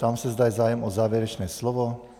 Ptám se, zda je zájem o závěrečné slovo.